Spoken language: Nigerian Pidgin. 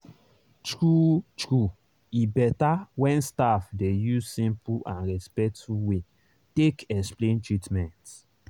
true-true e better when staff dey use simple and respectful way take explain treatment.